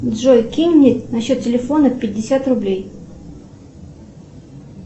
джой кинь мне на счет телефона пятьдесят рублей